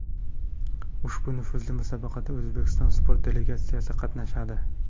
Ushbu nufuzli musobaqada O‘zbekiston sport delegatsiyasi qatnashadi.